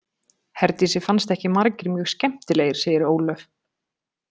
Herdísi fannst ekki margir mjög skemmtilegir, segir Ólöf.